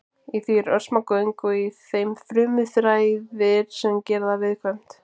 Í því eru örsmá göng og í þeim frumuþræðir sem gera það viðkvæmt.